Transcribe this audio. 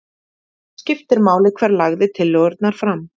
Skiptir mál hver lagði tillögurnar fram